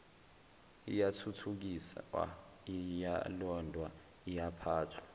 iyathuthukiswa iyalondwa iyaphathwa